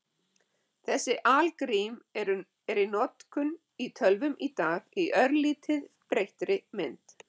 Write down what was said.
Þessi algrím eru í notkun í tölvum í dag í örlítið breyttri mynd.